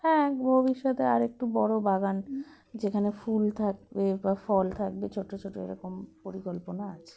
হ্যাঁ ভবিষ্যতে আরেকটু বড়ো বাগান যেখানে ফুল থাকবে বা ফল থাকবে ছোটো ছোটো এরকম পরিকল্পনা আছে